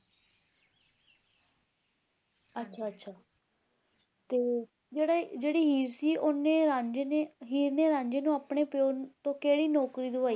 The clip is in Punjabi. ਅੱਛਾ ਅੱਛਾ ਤੇ ਜਿਹੜੇ ਜਿਹੜੀ ਹੀਰ ਸੀ ਓਹਨੇ ਰਾਂਝੇ ਨੇ ਹੀਰ ਨੇ ਰਾਂਝੇ ਨੂੰ ਆਪਣੇ ਪਿਓ ਤੋਂ ਕਿਹੜੀ ਨੌਕਰੀ ਦਵਾਈ